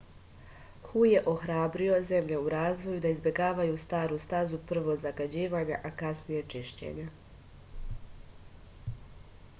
hu je ohrabrio zemlje u razvoju da izbegavaju staru stazu prvo zagađivanja a kasnije čišćenja